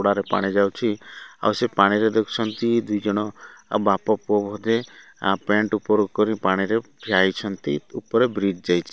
ହୁଡାରେ ପାଣିଯାଉଛି ଆଉ ସେ ପାଣିରେ ଦେଖୁଛନ୍ତି ଦୁଇଜଣ ବାପପୁଅ ବୋଧେ ପେଣ୍ଟ ଉପରକୁ କରି ପାଣିରେ ଠିଆହେଇଛନ୍ତି ଉପରେ ବ୍ରିଜ ଯାଇଚି।